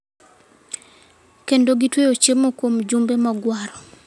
kendo gitweyo chiemo kuom jumbe mogwaro.